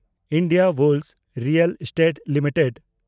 Indiabulls real estate limited